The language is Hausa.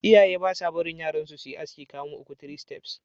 Iyaye ba sa barin yaransu su yi aski kamu uku (3 steps).